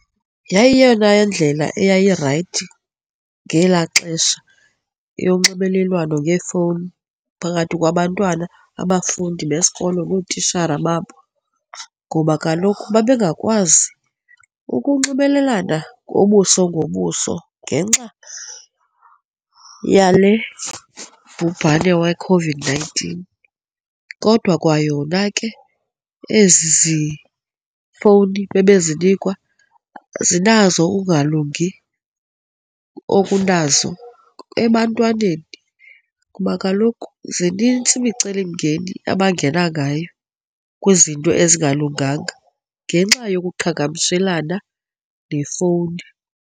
Yayiyeyona indlela eyayirayithi ngelaa xesha yonxibelelwano ngeefowuni phakathi kwabantwana, abafundi besikolo nootishara babo ngoba kaloku bebengakwazi ukunxibelelana ngobuso ngobuso ngenxa yale bhubhane weCOVID-nineteen. Kodwa kwayona ke, ezi fowuni bebezinikwa zinazo ukungalungi obunazo ebantwaneni kuba kaloku zinintsi imicelimngeni abangena ngayo kwizinto ezingalunganga ngenxa yokuqhagamshelana nefowuni,